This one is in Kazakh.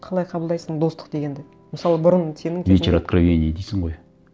қалай қабылдайсың достық дегенді мысалы бұрын сенің кезіңде вечер откровений дейсің ғой